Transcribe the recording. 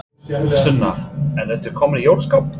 Sunna: En ertu kominn í jólaskap?